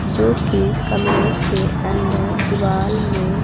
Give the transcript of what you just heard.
जोकि कमरे के अंदर दीवाल में--